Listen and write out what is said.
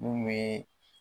Mun bɛ